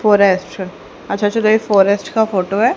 Forest अच्छा जो ये फॉरेस्ट का फोटो है।